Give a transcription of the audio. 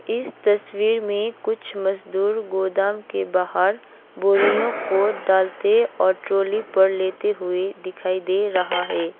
इस तस्वीर में कुछ मजदूर गोदाम के बाहर बोरियों को डालते और ट्रॉली पर लेते हुए दिखाई दे रहा है।